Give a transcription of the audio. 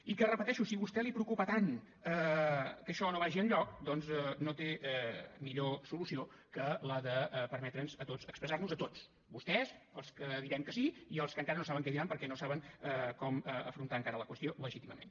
i ho repeteixo si a vostè el preocupa tant que això no vagi enlloc doncs no té millor solució que la de permetre’ns a tots expressar nos a tots a vostès als que direm que sí i als que encara no saben què diran perquè no saben com afrontar encara la qüestió legítimament